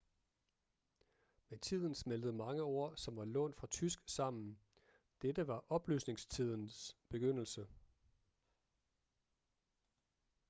med tiden smeltede mange ord som var lånt fra tysk sammen dette var oplysningstidens begyndelse